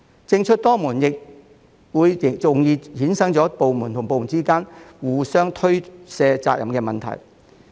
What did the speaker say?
政出多門亦容易衍生出部門之間互相推卸責任的問題。